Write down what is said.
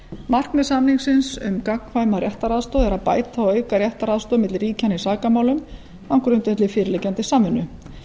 markmið samningsins um gagnkvæma réttaraðstoð er að bæta og auka réttaraðstoð milli ríkjanna í sakamálum á grundvelli fyrirliggjandi samvinnu